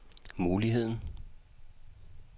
muligheden